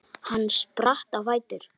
Hann spratt á fætur.